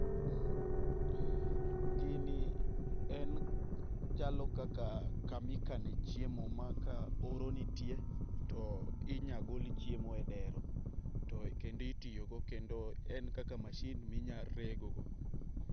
Mh gini en chalo kaka kama ikane chiemo ma ka oro nitie to inyagol chiemo edero to kendo ityiogo kendo en kaka mashin minya regogo.